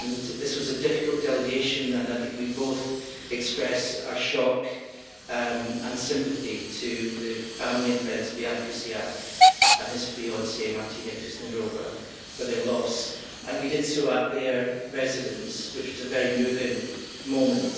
This was a difficult delegation, and I think we both express our shock and sympathy to the family and friends of Ján Kuciak and his fiancée, Martina Kušnírová, for their loss, and we did so at their residence, which was a very moving moment.